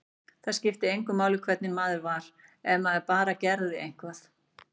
Það skipti engu máli hvernig maður var, ef maður bara gerði eitthvað.